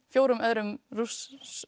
fjórum öðrum Rússum